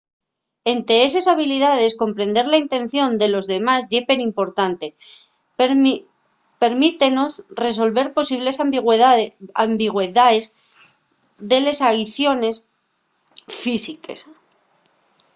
ente eses habilidaes comprender la intención de los demás ye perimportante permítenos resolver posibles ambigüedaes de les aiciones físiques